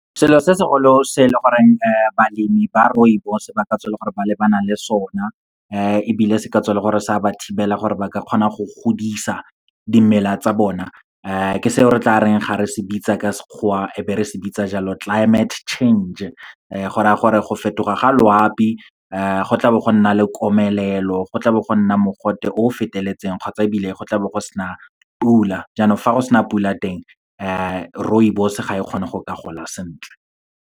Selo se segolo se leng goreng balemi ba rooibos ba ka tswa e le gore ba lebana le sona ebile se ka tswa e le gore sa ba thibela gore ba ka kgona go godisa dimela tsa bona, ke seo re tla reng ga re se bitsa ka Sekgowa e be re se bitsa jalo climate change, go raya gore go fetoga ga loapi. Go tla bo go nna le komelelo, go tla bo go nna mogote o feteletseng kgotsa ebile go tla bo go sena pula, jaanong fa go sena pula teng, rooibos ga e kgone go ka gola sentle.